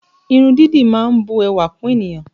Irun dídì má ń bu ẹwà kún ènìyàn